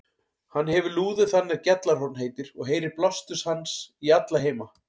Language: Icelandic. Hann hefir lúður þann er Gjallarhorn heitir, og heyrir blástur hans í alla heima.